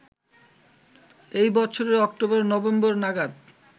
ওই বছরের অক্টোবর-নভেম্বর নাগাদ